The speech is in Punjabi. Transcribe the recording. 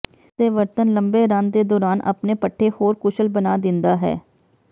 ਇਸ ਦੇ ਵਰਤਣ ਲੰਬੇ ਰਨ ਦੇ ਦੌਰਾਨ ਆਪਣੇ ਪੱਠੇ ਹੋਰ ਕੁਸ਼ਲ ਬਣਾ ਦਿੰਦਾ ਹੈ